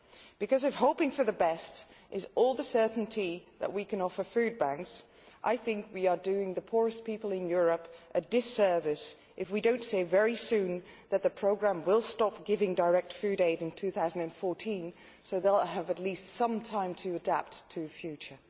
Because if hoping for the best is all the certainty that we can offer food banks, I think we are doing the poorest people in Europe a disservice if we do not say very soon that the programme will stop giving direct food aid in 2014 so that they will have at least some time to adapt to the future.